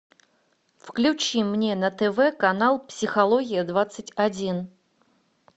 включи мне на тв канал психология двадцать один